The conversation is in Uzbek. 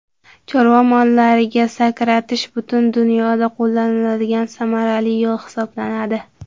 Chorva mollariga sakratish butun dunyoda qo‘llaniladigan samarali yo‘l hisoblanadi.